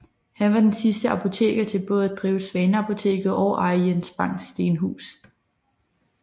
Han var den sidste apoteker til både at drive Svaneapoteket og eje Jens Bangs Stenhus